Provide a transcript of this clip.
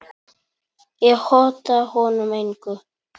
Ég hóta honum engu.